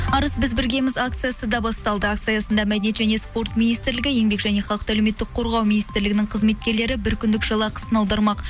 арыс біз біргеміз акциясы да басталды акция аясында мәдениет және спорт министрлігі еңбек және халықты әлеуметтік қорғау министрлігінің қызметкерлері бір күндік жалақысын аудармақ